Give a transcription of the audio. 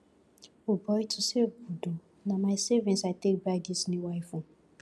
o boy to save good oo na my savings i take buy dis new iphone